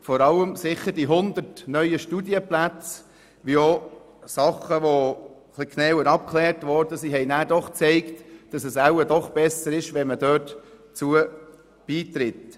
Vor allem die 100 neuen Studienplätze und auch Dinge, die ein bisschen genauer abgeklärt wurden, haben gezeigt, dass es wohl doch besser ist, dort beizutreten.